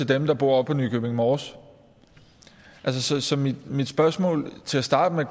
dem der bor på nykøbing mors så så mit mit spørgsmål går til at starte med